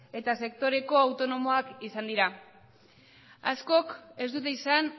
eta sektoreko autonomoak izan dira askok ez dute izan